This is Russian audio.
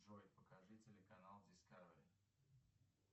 джой покажи телеканал дискавери